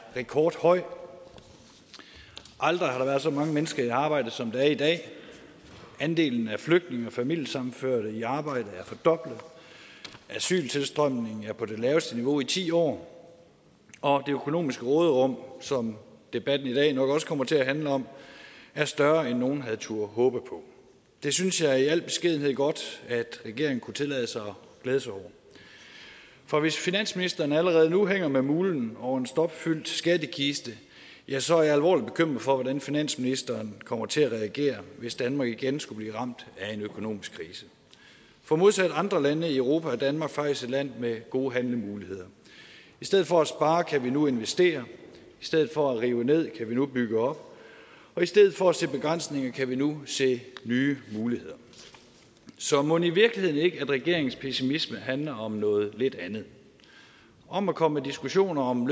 rekordhøj aldrig har der været så mange mennesker i arbejde som der er i dag andelen af flygtninge og familiesammenførte i arbejde er fordoblet asyltilstrømningen er på det laveste niveau i ti år og det økonomiske råderum som debatten i dag nok også kommer til at handle om er større end nogen havde turde håbe på det synes jeg i al beskedenhed godt regeringen kunne tillade sig at glæde sig over for hvis finansministeren allerede nu hænger med mulen over en stopfyldt skattekiste ja så er jeg alvorlig bekymret for hvordan finansministeren kommer til at reagere hvis danmark igen skulle blive ramt af en økonomisk krise for modsat andre lande i europa er danmark faktisk et land med gode handlemuligheder i stedet for at spare kan vi nu investere i stedet for at rive ned kan vi nu bygge op og i stedet for at se begrænsninger kan vi nu se nye muligheder så mon i virkeligheden ikke at regeringens pessimisme handler om noget lidt andet om at komme diskussioner om